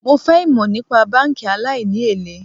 Mo fẹ́ ìmò nípa báńkì aláìní èlé.